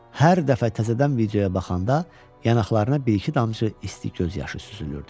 hər dəfə təzədən videoya baxanda yanaqlarına bir-iki damcı isti göz yaşı süzülürdü.